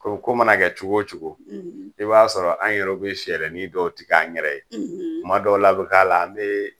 Ko ko mana kɛ cogo cogo ,i b'a sɔrɔ an yɛrɛ bi fɛɛrɛnin dɔw tikan yɛrɛ ye kuma dɔw la bi k'a la an bi